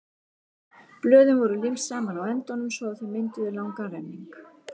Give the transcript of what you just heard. Blöðin voru límd saman á endunum svo að þau mynduðu langan renning.